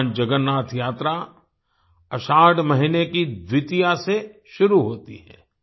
भगवान जगन्नाथ यात्रा आषाढ़ महीने की द्वितीया से शुरू होती है